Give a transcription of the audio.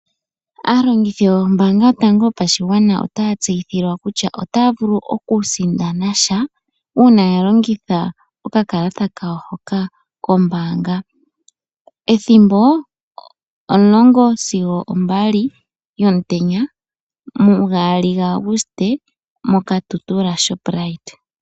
Aalongithi yombaanga yotango yopashigwana otaya tseyithilwa kutya otaya vulu okusindana sha uuna yalongitha okakalata hoka kombaanga. Ethimbo omulongo sigo ombali yomutenya mugaali gaAguste moKatutura Shoprite.